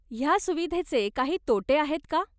ह्या सुविधेचे काही तोटे आहेत का?